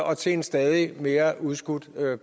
og til en stadig mere udskudt